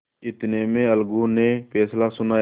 इतने में अलगू ने फैसला सुनाया